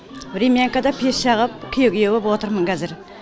времянкада пеш жағып күйе күйе боп отырмын кәзір